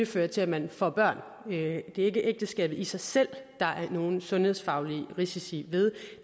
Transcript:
fører til at man får børn det er ikke ægteskabet i sig selv der er nogen sundhedsfaglige risici ved